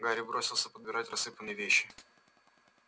гарри бросился подбирать рассыпанные вещи